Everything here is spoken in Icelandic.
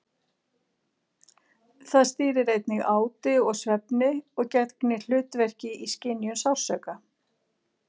Það stýrir einnig áti og svefni og gegnir hlutverki í skynjun sársauka.